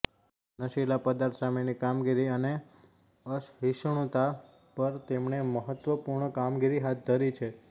નશીલા પદાર્થો સામેની કામગીરી અને અસહિષ્ણુતા પર તેમણે મહત્વપૂર્ણ કામગીરી હાથ ધરી હતી